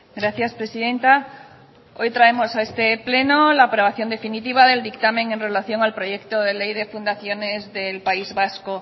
gracias presidenta hoy traemos a este pleno la aprobación definitiva del dictamen en relación al proyecto de ley de fundaciones del país vasco